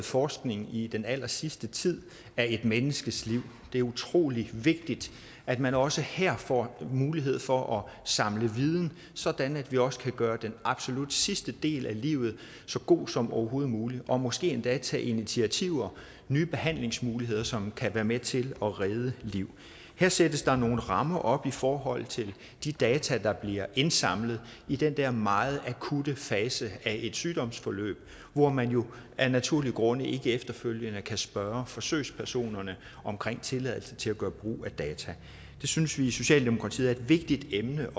forskning i den allersidste tid af et menneskes liv det er utrolig vigtigt at man også her får mulighed for at samle viden sådan at vi også kan gøre den absolut sidste del af livet så god som overhovedet muligt og måske endda tage initiativer nye behandlingsmuligheder som kan være med til at redde liv her sættes der nogle rammer op i forhold til de data der bliver indsamlet i den der meget akutte fase af et sygdomsforløb hvor man jo af naturlige grunde ikke efterfølgende kan spørge forsøgspersonen om tilladelse til at gøre brug af data det synes vi i socialdemokratiet er et vigtigt emne